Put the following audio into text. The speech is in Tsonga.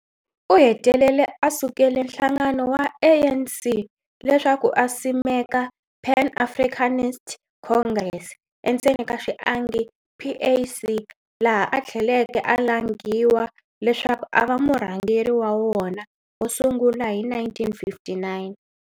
U hetelele a sukele nhlangano wa ANC leswaku a simeka Pan Africanist Congress, PAC, laha a thleleke alanghiwa leswaku ava murhangeri wa wona wosungula hi 1959.